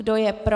Kdo je pro?